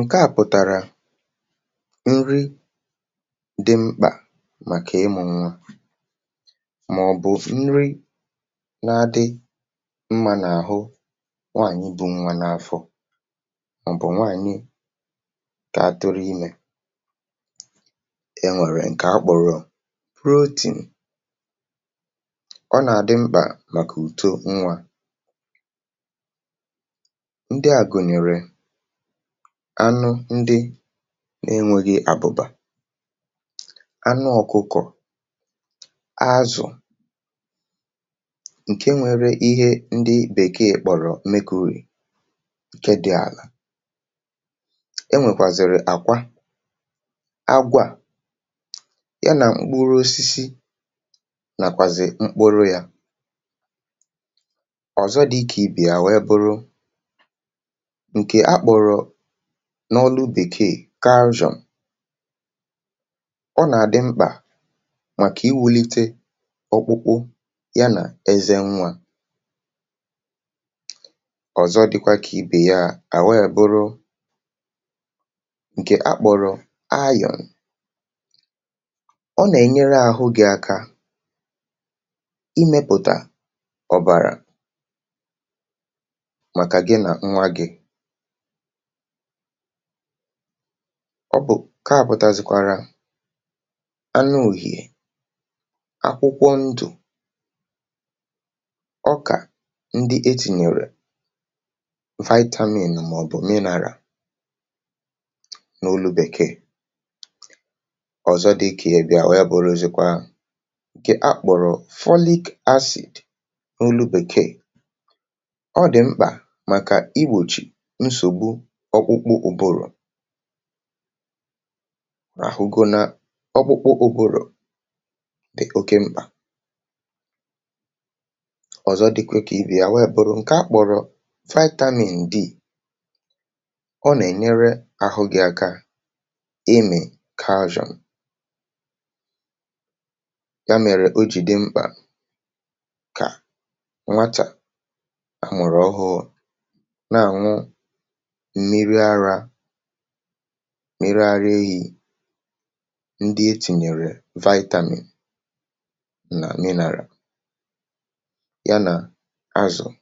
ǹke à pụ̀tàrà, nri dị mkpà màkà ịmụ̇ nnwȧ, màọ̀bụ̀ nri nà-adị mmȧ n’àhụ nwaànyị bụ́ nwa n’afọ, màọ̀bụ̀ nwaànyị kà atụrụ imė. E nwèrè ǹkè a kpọ̀rọ̀ protein, ọ nà-adị mkpà màkà uto nwȧ. um Anụ̀ ndị na-enwere àbụ̀bà, anụ̀ ọkụkọ̀, azụ̀, ǹke nwere ihe ndị bekeè kpọ̀rọ̀ mekari, ǹke dị̇ àlà, enwèkwàzịrì àkwa àgwà ya nà mkpuru osisi, nàkwàzị mkpuru yȧ. Ọ̀zọ, dịkà ibì, àwee bụrụ n’ọnụ bekeè calcium, ọ nà-àdị mkpà màkà iwulite ọkpụkpụ ya nà eze nwa. Ọ̀zọ, dịkwa kà ibè ya, àghọ ya bụrụ ǹkè akpụrụ ayò, ọ nà-ènyere àhụ gị̇ aka ịmėpụ̀tà ọ̀bàrà màkà gị nà nwa gị̇. Ọ bụ̀ ka àpụtazikwara anụ òhìè, akwụkwọ ndù, ọkà, ndị e tìnyèrè vitamin màọ̀bụ̀ mineral, n’olu bekeè. Ọ̀zọ, dịkà ya bị̀à, wee bụ̀rụ̀ ozìkwa ǹke akpọ̀rọ̀ folic acid, n’olu bekeè. Ọ dị̀ mkpà màkà igbòchì nsògbu ọkwụkwọ ùbòrò, àhụgo na ọkwụkwọ ùbòrò dị oke mkpà. Ọzọ, dịkwa ka ibè ya, wee bụrụ nke a kpọrọ vitamin D, ọ nà-ènyere àhụ gị aka ịmị̀ calcium. um Ya mèrè ojì dị mkpà kà nwatà amụ̀rọ̀ ọhụhụ mịrị ara ehi̇, ndị etinyere vitamin nà mineral, ya nà azụ̀